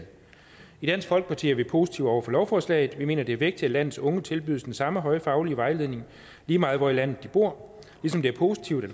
i dansk folkeparti er vi positive over for lovforslaget vi mener det er vigtigt at landets unge tilbydes den samme høje faglig vejledning lige meget hvor i landet de bor ligesom det er positivt at